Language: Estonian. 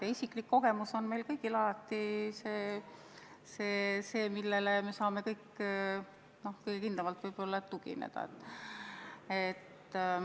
Ja isiklik kogemus on meil kõigil alati see, millele me saame võib-olla kõige kindlamalt tugineda.